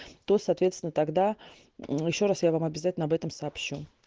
то соответственно тогда ещё раз я вам обязательно об этом сообщу